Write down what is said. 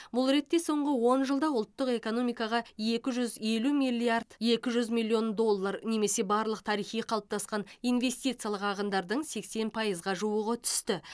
бұл ретте соңғы он жылда ұлттық экономикаға екі жүз елу миллиард екі жүз миллион доллар немесе барлық тарихи қалыптасқан инвестициялық ағындардың сексен пайызға жуығы түсті